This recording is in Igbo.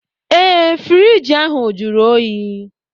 Ee friiji ahụ jụrụ oyi